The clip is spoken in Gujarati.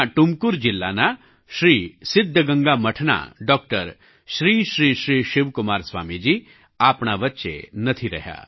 કર્ણાટકના ટુમકુર જિલ્લાના શ્રી સિદ્ધગંગા મઠના ડૉક્ટર શ્રી શ્રી શ્રી શિવકુમાર સ્વામીજી આપણા વચ્ચે નથી રહ્યા